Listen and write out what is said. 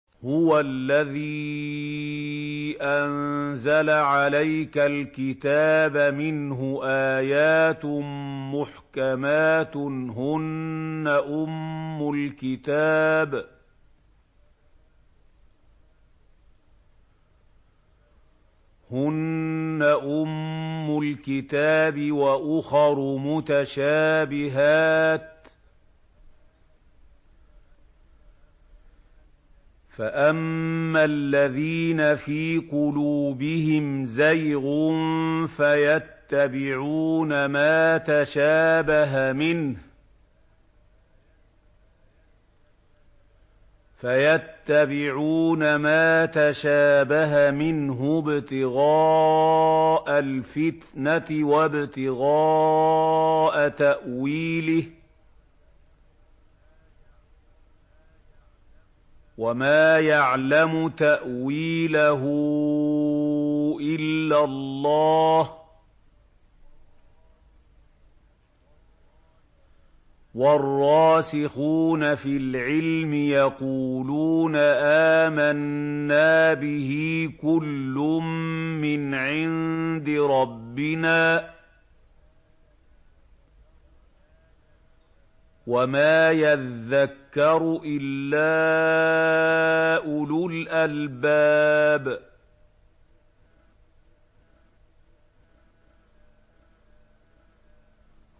هُوَ الَّذِي أَنزَلَ عَلَيْكَ الْكِتَابَ مِنْهُ آيَاتٌ مُّحْكَمَاتٌ هُنَّ أُمُّ الْكِتَابِ وَأُخَرُ مُتَشَابِهَاتٌ ۖ فَأَمَّا الَّذِينَ فِي قُلُوبِهِمْ زَيْغٌ فَيَتَّبِعُونَ مَا تَشَابَهَ مِنْهُ ابْتِغَاءَ الْفِتْنَةِ وَابْتِغَاءَ تَأْوِيلِهِ ۗ وَمَا يَعْلَمُ تَأْوِيلَهُ إِلَّا اللَّهُ ۗ وَالرَّاسِخُونَ فِي الْعِلْمِ يَقُولُونَ آمَنَّا بِهِ كُلٌّ مِّنْ عِندِ رَبِّنَا ۗ وَمَا يَذَّكَّرُ إِلَّا أُولُو الْأَلْبَابِ